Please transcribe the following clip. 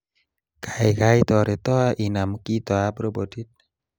Kaikai toreto inam kitoab robotit